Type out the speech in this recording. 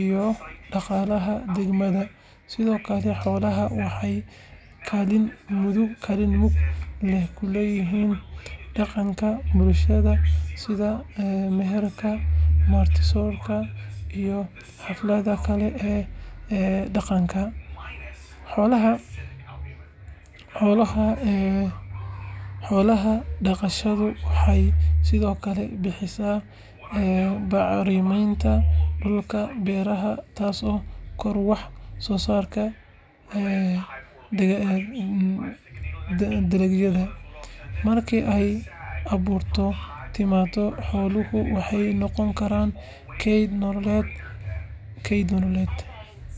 iyo dhaqaalaha deegaanka. Sidoo kale, xoolaha waxay kaalin mug leh ku leeyihiin dhaqanka bulshada sida meherka, marti-soorka iyo xafladaha kale ee dhaqanka. Xoolo-dhaqashadu waxay sidoo kale bixisaa bacriminta dhulka beeraha taasoo kordhisa wax-soosaarka dalagyada. Markii ay abaartu timaaddo, xooluhu waxay noqon karaan keyd nololeed.